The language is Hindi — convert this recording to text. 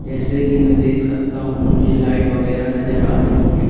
जैसे कि मैं देख सकता हूं मुझे लाइट वगैरह नजर आ रही हैं।